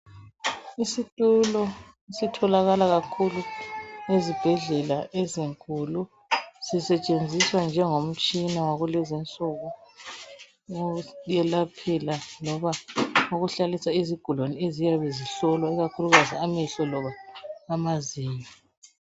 isitulo esitholakala kakhulu ezibhedlela ezinkulu sisetshenziswa njengo mtshina wakulezinsuku ukuyelaphela loba ukuhlalisela izigulane eziyabe zihlolwa ikakhulukazi amehlo loba amazinyo